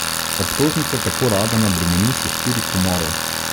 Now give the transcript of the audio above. Obtožnica tako Radana bremeni še štirih umorov.